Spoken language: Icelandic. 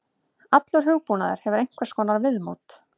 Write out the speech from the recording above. Allur hugbúnaður hefur einhvers konar viðmót.